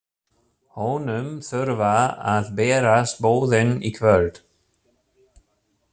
Honum þurfa að berast boðin í kvöld.